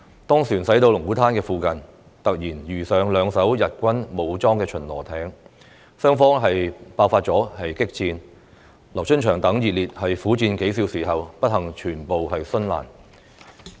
當船駛到龍鼓灘附近，突然遇上兩艘日軍武裝巡邏艇，雙方爆發激戰，劉春祥等英烈苦戰數小時後，不幸全部殉難。